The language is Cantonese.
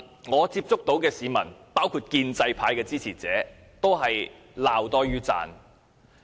我接觸到的市民，包括建制派的支持者，對它均是罵多於讚。